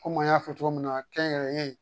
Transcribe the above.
Komi an y'a fɔ cogo min na kɛnyɛrɛye